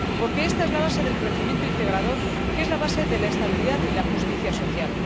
Porque esta es la base del crecimiento integrador que es la base de la estabilidad y la justicia social.